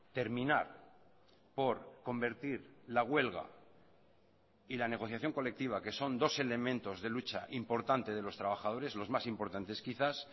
terminar por convertir la huelga y la negociación colectiva que son dos elementos de lucha importante de los trabajadores los más importantes quizás